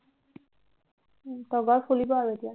তগৰ ফুলিব আৰু এতিয়া